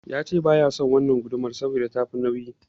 Yace baya son wannan gudumar saboda tafi nauyi.